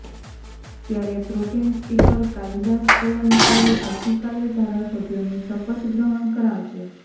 ત્યારે pro tem speaker Kalidas Kolambkar આવતીકાલે ધારાસભ્યોને શપથગ્રહણ કરાવશે